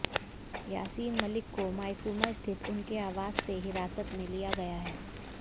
यासीन मलिक को मायसूमा स्थित उनके आवास से हिरासत में लिया गया है